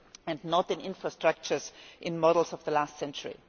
and not in infrastructures and models of the last century.